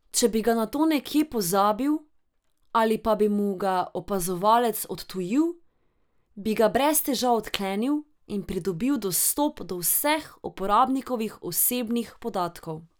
Če bi ga nato nekje pozabil ali pa bi mu ga opazovalec odtujil, bi ga brez težav odklenil in pridobil dostop do vseh uporabnikovih osebnih podatkov.